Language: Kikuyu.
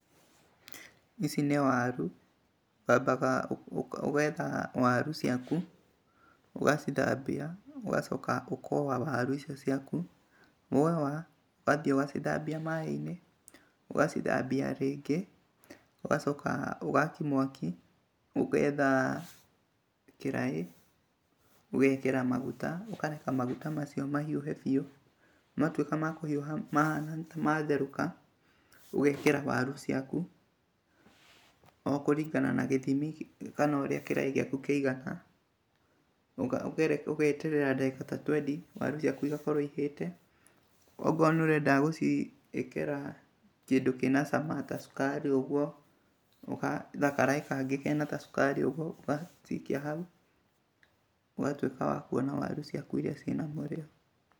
Ici nĩ waru, wambaga ũgetha waru ciaku, ũgacithambia, ũgacoka ũkowa waru icio ciaku. Wowa, ũgathiĩ ugacithambia maaĩ-inĩ, ũgacithambia rĩngĩ, ũgacoka ũgaakia mwaki, ũgetha kĩraĩ, ũgekĩra maguta, ũkareka maguta macio mahiũhe biũ, matuĩka ma kũhiũha, matherũka, ũgekĩra waru ciaku, o kũringana na gĩthimi kana ũrĩa kĩraĩ gĩaku kĩigana, ũgeeterera ndagĩka ta twendi, waru ciaku igakorwo ihĩte. Okorwo nĩ ũrenda gũciĩkaĩra kĩndũ kĩna cama ta cukari ũguo, ũgetha karaĩ kangĩ kena ta cukari ũguo, ũgacikia hau, ũgatũĩka wa kuona waru ciaku iria ciĩna mũrĩo.